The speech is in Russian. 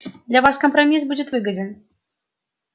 для вас компромисс будет выгоден